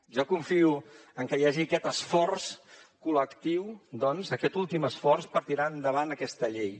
jo confio en què hi hagi aquest esforç col·lectiu doncs aquest últim esforç per tirar endavant aquesta llei